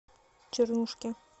чернушке